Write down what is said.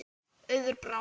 Auður Brá.